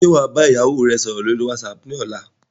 Ṣé wá bá ìyàwó rè sọ̀rọ̀ lórí whatsapp ni ọ̀la?